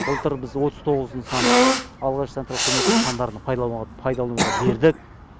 былтыр біз отыз тоғыз нысан алғашқы санитарлық көмек нысандарын пайдалануға бердік